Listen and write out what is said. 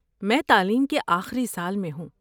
میں تعلیم کے آخری سال میں ہوں۔